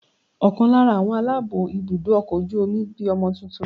Ọ̀kan lára àwọn aláàbó ibùdó ọkọ̀ ojú omi bí ọmọ tuntun.